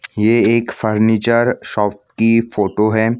ये एक furniture shop की फोटो है।